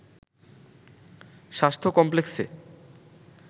স্বাস্থ্য কমপ্লেক্সে